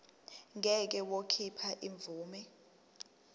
ngeke wakhipha imvume